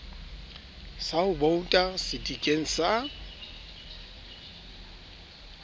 sa ho vouta sedikeng sa